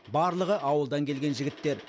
барлығы ауылдан келген жігіттер